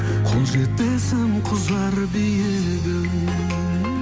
қол жетпесім кұзар биігім